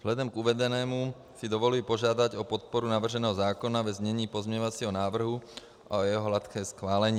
Vzhledem k uvedenému si dovoluji požádat o podporu navrženého zákona ve znění pozměňovacího návrhu a o jeho hladké schválení.